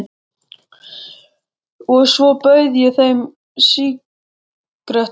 Og svo bauð ég þeim sígarettu.